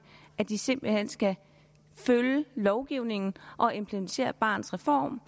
at de simpelt hen skal følge lovgivningen og implementere barnets reform